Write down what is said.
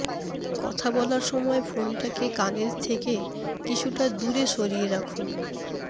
কথা বলার সময় ফোনটাকে কানের থেকে কিছুটা দূরে সরিয়ে রাখুন